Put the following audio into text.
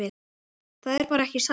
Það er bara ekki satt.